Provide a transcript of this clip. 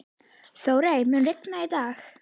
Þórey, mun rigna í dag?